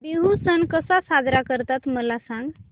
बिहू सण कसा साजरा करतात मला सांग